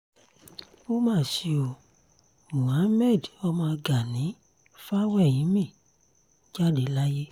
ó mà ṣe o mohammed ọmọ gani fawéhínmí jáde láyé